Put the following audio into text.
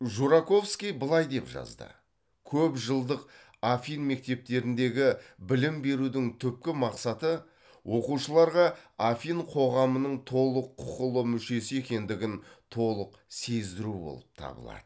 жураковский былай деп жазды көп жылдық афин мектептеріндегі білім берудің түпкі мақсаты оқушыларға афин қоғамының толық құқылы мүшесі екендігін толық сездіру болып табылады